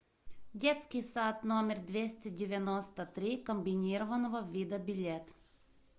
детский сад номер двести девяносто три комбинированного вида билет